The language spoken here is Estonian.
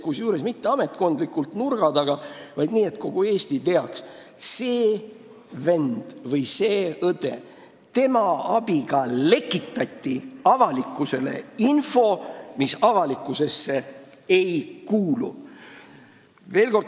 Kusjuures mitte ametkondlikult nurga taga, vaid nii, et kogu Eesti teaks: selle venna või õe abiga lekitati info, mis avalikkusele ei kuulu.